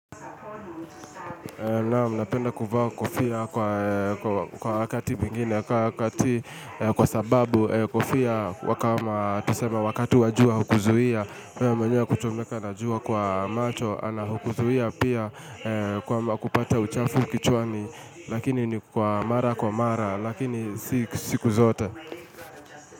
Naam, napenda kuvaa kofia kwa kwa wa kwa wakati mwingine kwa wakati, kwa sababu kofia huwa kama tuseme wakati wa jua hukuzuia. Wewe mwenye kuchomeka na jua kwa macho, anapokuzuia pia kwa kupata uchafu kichwani, lakini ni kwa mara kwa mara, lakini si siku zote.